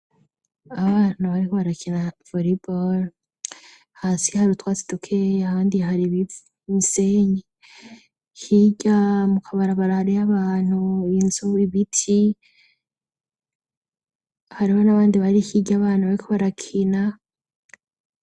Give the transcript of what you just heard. Abana bariko barakina umupira w'amaboko, hasi hari utwatsi dukeya, ahandi har'imisenyi, hirya mu kabarabara hariyo abantu, inzu, ibiti, hariho n'abandi bari hirya y'abana bariko barakina.